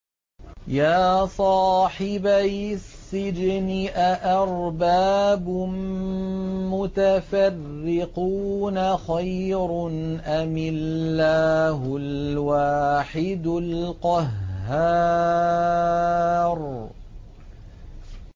يَا صَاحِبَيِ السِّجْنِ أَأَرْبَابٌ مُّتَفَرِّقُونَ خَيْرٌ أَمِ اللَّهُ الْوَاحِدُ الْقَهَّارُ